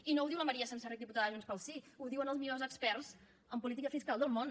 i no ho diu la maria senserrich diputada de junts pel sí ho diuen els millors experts en política fiscal del món